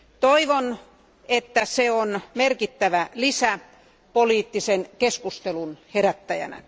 Toivon, että se on merkittävä lisä poliittisen keskustelun herättäjänä.